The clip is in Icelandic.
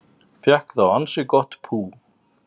Fékk þá ansi gott pú